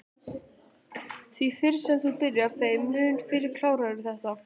Því fyrr sem þú byrjar þeim mun fyrr klárarðu þetta